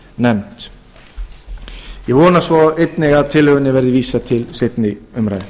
nefnd ég vona svo einnig að tillögunni verði vísað til seinni umræðu